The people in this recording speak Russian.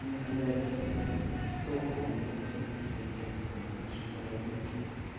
ну блять похуй мне контекст не контекст понимаешь это родители